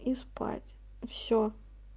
и спать все